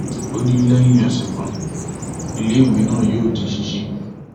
ó ní lẹyìn ọsẹ kan iléèwé náà yóò di ṣíṣí